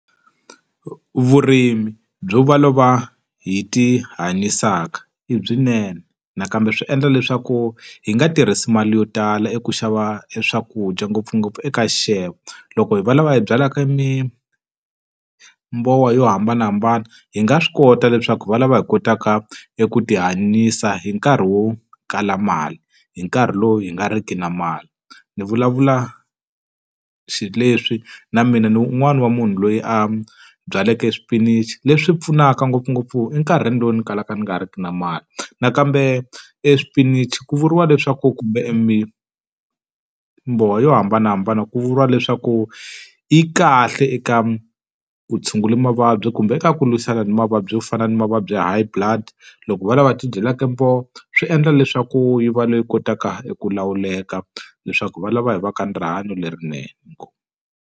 Vurimi byo va lava hi tihanyisaka i byinene, nakambe swi endla leswaku hi nga tirhisi mali yo tala eku xava eswakudya ngopfungopfu eka xixevo. Loko hi va lava hi byalaka mi mbowa yo hambanahambana hi nga swi kota leswaku hi va lava hi kotaka eku tihanyisa hi nkarhi wo kala mali, hi nkarhi lowu hi nga riki na mali. Ni vulavula xi leswi na mina ni un'wani wa munhu loyi a byaleke swipinichi leswi pfunaka ngopfungopfu enkarhini lowu ni kalaka ni nga riki na mali. Nakambe eswipinichi ku vuriwa leswaku kumbe e mi mbowa yo hambanahambana ku vuriwa leswaku, yi kahle eka ku tshungula mavabyi kumbe eka ku lwisana ni mavabyi yo fana ni mavabyi high blood. Loko va lava hi ti dyelaka miroho swi endla leswaku yi va leyi kotaka ku lawuleka, leswaku va lava hi va ka ni rihanyo lerinene. Inkomu.